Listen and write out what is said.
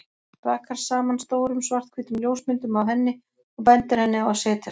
Rakar saman stórum, svarthvítum ljósmyndum af henni og bendir henni á að setjast.